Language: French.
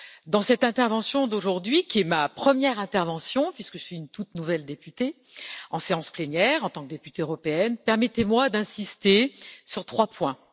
Dans cette intervention d'aujourd'hui, qui est ma première intervention puisque je suis une toute nouvelle députée en séance plénière, en tant que députée européenne, permettez moi d'insister sur trois points.